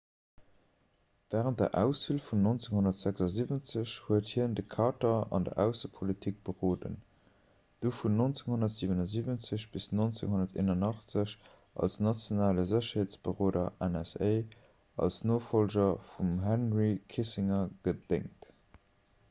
wärend der auswiel vun 1976 huet hien de carter an der aussepolitik beroden du vun 1977 bis 1981 als nationale sécherheetsberoder nsa als nofollger vum henry kissinger gedéngt